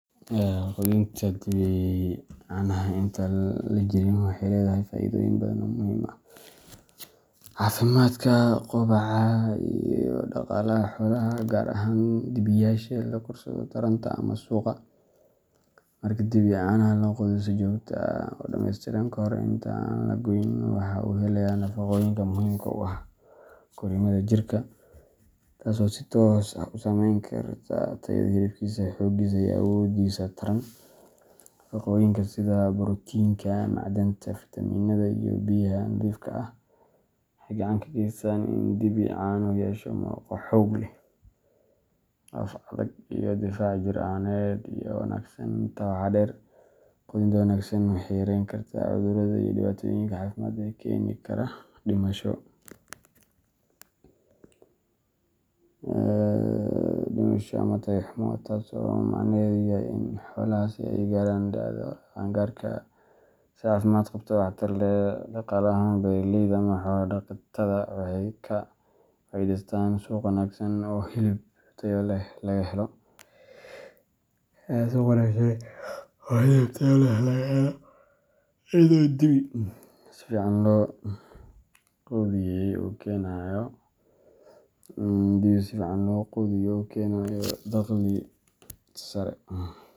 Qudinta dibi canaha inta aan la jarin waxay leedahay faa’iidooyin badan oo muhiim u ah caafimaadka, kobaca iyo dhaqaalaha xoolaha, gaar ahaan dibiyaasha loo korsado taranta ama suuqa. Marka dibi canaha la quudiyo si joogto ah oo dhamaystiran kahor inta aan la goyn, waxa uu helayaa nafaqooyinka muhiimka u ah korriimada jirkiisa, taas oo si toos ah u saameyn karta tayada hilibkiisa, xooggiisa, iyo awooddiisa taran. Nafaqooyinka sida borotiinka, macdanta, fiitamiinnada, iyo biyaha nadiifka ah waxay gacan ka geystaan in dibi canuhu yeesho murqo xoog leh, laf adag, iyo difaac jir ahaaneed oo wanaagsan. Intaa waxaa dheer, quudinta wanaagsan waxay yarayn kartaa cudurrada iyo dhibaatooyinka caafimaad ee keeni kara dhimasho ama tayo xumo, taas oo macnaheedu yahay in xoolahaasi ay gaaraan da'da qaan-gaarka si caafimaad qabta oo waxtar leh. Dhaqaale ahaan, beeralayda ama xoolo dhaqatada waxay ka faa’iidaystaan suuq wanaagsan oo hilib tayo leh laga helo, iyadoo dibi si fiican loo quudiyey uu keenayo dakhli sare.